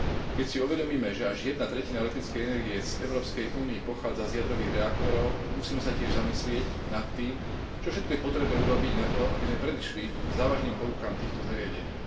Keď si uvedomíme, že až jedna tretina elektrickej energie z Európskej únie pochádza z jadrových reaktorov, musíme sa tiež zamyslieť nad tým, čo všetko je potrebné urobiť na to, aby sme predišli závažným poruchám týchto zariadení.